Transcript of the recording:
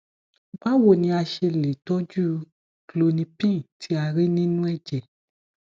báwo ni a ṣe lè toju klonipin tí a rí nínú ẹjẹ